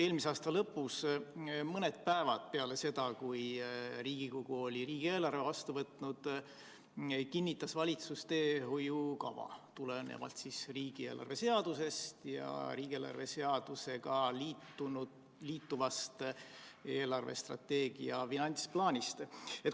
Eelmise aasta lõpus, mõned päevad peale seda, kui Riigikogu oli riigieelarve vastu võtnud, kinnitas valitsus teehoiukava tulenevalt riigieelarve seadusest ja riigieelarve seadusega liituvast eelarvestrateegia finantsplaanist.